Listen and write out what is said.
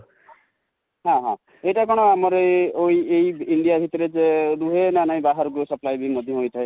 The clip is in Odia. ହଁ ହଁ ଏଟା କଣ ଆମର ଏ, ଏଇ India ଭିତରେ ରୁହେ ନା ନାଇ ବାହାରକୁ supply ମଧ୍ୟ ହୋଇଥାଏ